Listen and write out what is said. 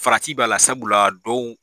Farati b'a la sabula dɔw